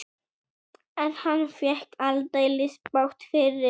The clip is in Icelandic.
En hann fékk aldeilis bágt fyrir.